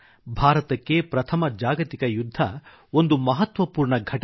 ಭಾರತಕ್ಕೆ ಪ್ರಥಮ ಜಾಗತಿಕ ಯುದ್ಧ ಒಂದು ಮಹತ್ವಪೂರ್ಣ ಘಟನೆ